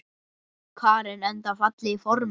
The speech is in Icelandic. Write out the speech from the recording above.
Karen: Enda fallegir formenn?